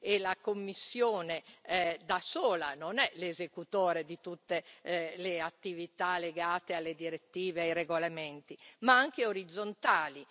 e la Commissione da sola non è l'esecutore di tutte le attività legate alle direttive e ai regolamenti ma anche orizzontali.